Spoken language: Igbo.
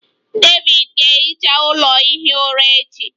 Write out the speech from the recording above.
David ga-ehicha ụlọ ihi ụra echi